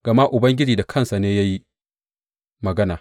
Gama Ubangiji da kansa ne ya yi magana.